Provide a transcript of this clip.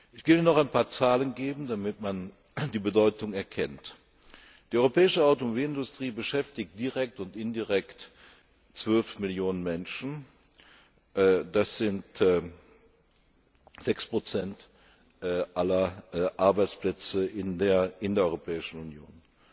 Ich will noch ein paar Zahlen nennen, damit man die Bedeutung erkennt Die europäische Automobilindustrie beschäftigt direkt und indirekt 12 Millionen Menschen. das sind 6 aller Arbeitsplätze in der Europäischen Union.